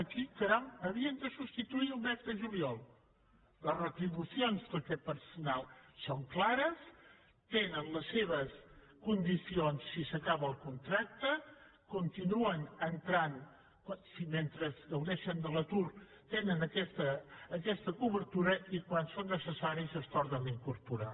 qui caram havien de substituir el mes de juliol les retribucions d’aquest personal són clares tenen les seves condicions si s’acaba el contracte mentre gaudeixen de l’atur tenen aquesta cobertura i quan són necessaris es tornen a incorporar